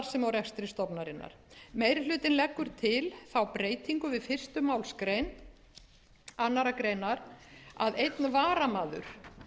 rekstri stofnunarinnar meiri hlutinn leggur til þá breytingu við fyrstu málsgrein annarrar greinar að einn varamaður